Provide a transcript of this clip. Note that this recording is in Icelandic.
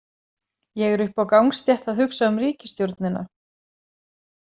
Ég er uppi á gangstétt að hugsa um ríkisstjórnina.